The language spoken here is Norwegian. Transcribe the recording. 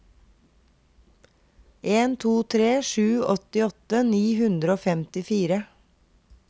en to tre sju åttiåtte ni hundre og femtifire